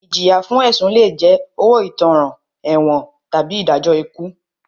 Ìjìyà fún ẹ̀sùn lé jẹ́ owó ìtanràn, ẹ̀wọ̀n tàbí ìdájọ́ ikú.